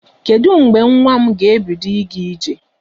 Kedụ mgbe nwa m ga-ebido ịga ije?